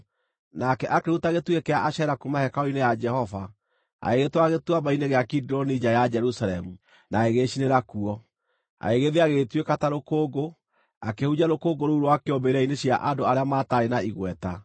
Nake akĩruta gĩtugĩ kĩa Ashera kuuma hekarũ-inĩ ya Jehova, agĩgĩtwara Gĩtuamba-inĩ gĩa Kidironi nja ya Jerusalemu, na agĩgĩcinĩra kuo. Agĩgĩthĩa, gĩgĩtuĩka ta rũkũngũ, akĩhurunjĩra rũkũngũ rũu rwakĩo mbĩrĩra-inĩ cia andũ arĩa mataarĩ na igweta.